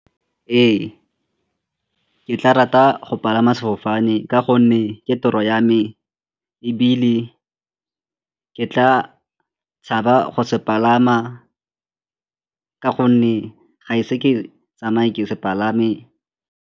Ee, ke tla rata go palama sefofane ka gonne ke toro ya me ebile ke tla tshaba go se palama ka gonne ga e se ke tsamaye ke se palame.